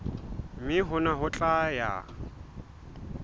mme hona ho tla ya